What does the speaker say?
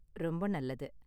ரொம்ப நல்லது.